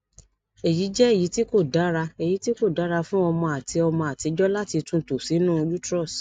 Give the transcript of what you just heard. eyi jẹ eyiti ko dara eyiti ko dara fun ọmọ ati ọmọ atijọ lati tunto sinu uterus